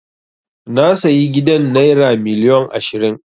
Na sayi gidan naira miliyon ashirin.